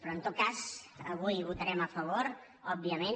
però en tot cas avui hi votarem a favor òbviament